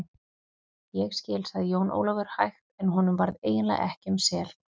Ég skil, sagði Jón Ólafur hægt en honum varð eiginlega ekki um sel.